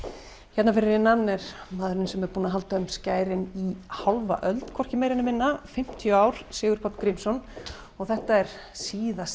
hérna fyrir innan er maðurinn sem er búinn að halda um skærin í hálfa öld hvorki meira né minna fimmtíu ár Sigurpáll Grímsson þetta er síðasti